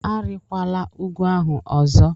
Arịkwala ugwu ahụ ọzọ!